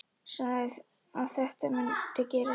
Sagði að þetta mundi gerast.